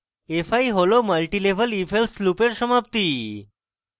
fi হল multilevel ifelse লুপের সমাপ্তি